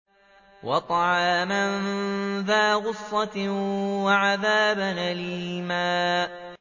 وَطَعَامًا ذَا غُصَّةٍ وَعَذَابًا أَلِيمًا